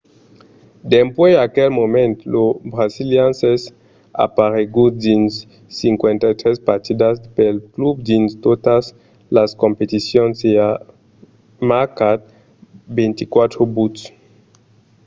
dempuèi aquel moment lo brasilian es aparegut dins 53 partidas pel club dins totas las competicions e a marcat 24 buts